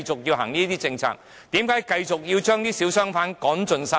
為何要繼續將小商販趕盡殺絕？